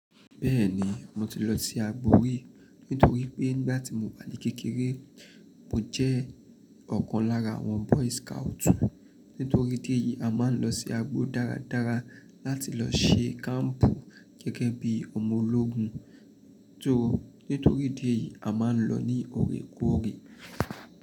Bẹ́ẹ̀ni mo ti lọ sí agbo rí, nítorí pé nígbà tí mo wà ní kékeré, mo jẹ́ ọ̀kan lára àwọn boy scout. Nítorí tí èyí a máa ń lọ sí agbo dáradára láti lọ ṣe kampu gẹ́gẹ́ bí ọmọ ológun. Tóó nítorí tí èyí a máa ń lọ ní òrékóòrè.